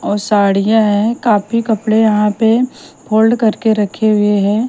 और साड़ियां है काफी कपड़े यहां पे फोल्ड करके रखे हुए हैं।